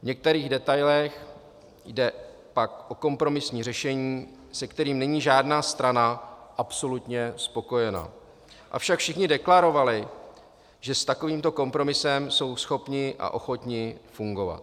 V některých detailech jde pak o kompromisní řešení, se kterým není žádná strana absolutně spokojena, avšak všichni deklarovali, že s takovýmto kompromisem jsou schopni a ochotni fungovat.